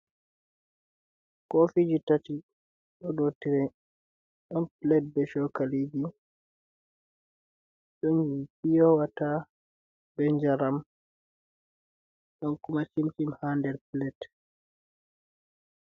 koofiiji tati dow tire. Ɗon pilet e cookaliiji, ɗon gon piyo wata bee njaram, ɗon kuma cin-cin haa nder pilet.